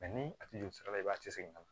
ni a tigi joli sira la i b'a tɛ segin ka na